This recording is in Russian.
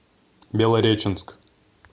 белореченск